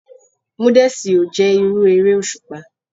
Múdèsí o jé irú eré òṣùpá.